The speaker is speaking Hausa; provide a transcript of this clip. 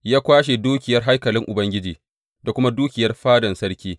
Ya kwashe dukiyar haikalin Ubangiji da kuma dukiyar fadan sarki.